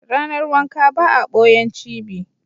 Ranar wanka ba a ɓoyen cibi